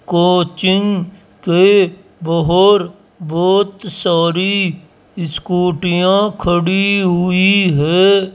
Coaching के बाहर बहोत सारी स्कूटियां खड़ी हुई है।